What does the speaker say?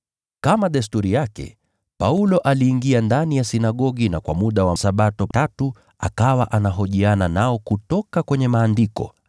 Kama desturi yake, Paulo aliingia ndani ya sinagogi, na kwa muda wa Sabato tatu akawa anahojiana nao kutoka kwenye Maandiko,